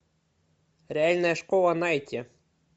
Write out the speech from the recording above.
реальная школа найти